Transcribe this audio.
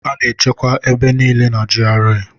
A na-echekwa ebe niile na GRA.